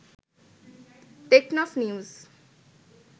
Teknaf news